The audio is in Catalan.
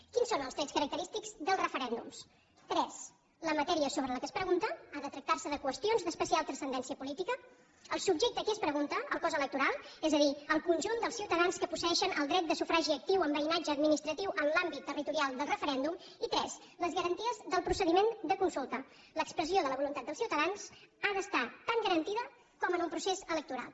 quins són els trets característics dels referèndums tres la matèria sobre la qual es pregunta ha de tractar se de qüestions d’especial transcendència política el subjecte a qui es pregunta el cos electoral és a dir el conjunt dels ciutadans que posseeixen el dret de sufragi actiu amb veïnatge administratiu en l’àmbit territorial del referèndum i tres les garanties del procediment de consulta l’expressió de la voluntat dels ciutadans ha d’estar tan garantida com en un procés electoral